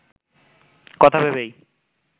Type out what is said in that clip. কথা ভেবেই